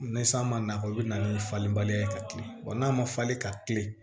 Ni san ma na i bɛ na ni falen baliya ye ka tilen wa n'a ma falen ka tilen